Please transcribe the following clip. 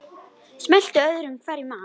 Smellti öðru hverju af.